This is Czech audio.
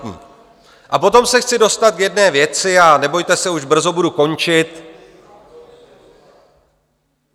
A potom se chci dostat k jedné věci, a nebojte se, už brzo budu končit.